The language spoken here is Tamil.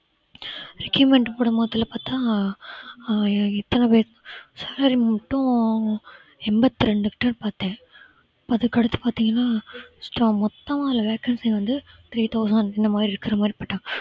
requirement போடும்போதுல பார்த்தா அஹ் எ~ எத்தன பேர் salary மட்டும் எண்பத்தி ரெண்டு கிட்ட பார்த்தேன் அதுக்கு அடுத்து பாத்தீங்கன்னா extra மொத்தமா அதுல vacancy வந்து three thousand அந்த இந்த மாதிரி இருக்கற மாதிரி போட்டாங்க